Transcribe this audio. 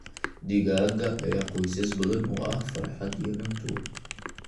Digaagga ayaa qoysas badan u ah farxad iyo cunto.